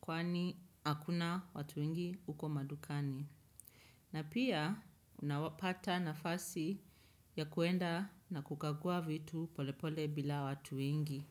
kwani hakuna watu wengi huko madukani. Na pia unapata nafasi ya kuenda na kukagua vitu polepole bila watu wengi.